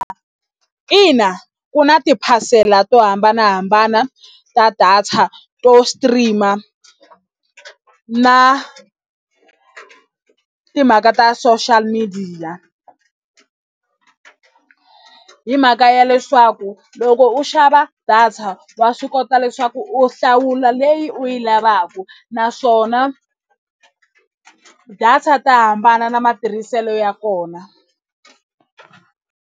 Ina ku na tiphasela to hambanahambana ta data to stream na timhaka ta social media hi mhaka ya leswaku loko u xava data wa swi kota leswaku u hlawula leyi u yi lavaka naswona data ta hambana na matirhiselo ya kona.